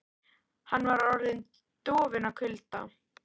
Hann var orðinn dofinn af kulda.